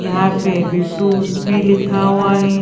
यहाँ पे V two भी लिखा हुआ हैं।